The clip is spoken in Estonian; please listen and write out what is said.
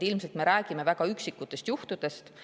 Ilmselt me räägime väga üksikutest juhtudest.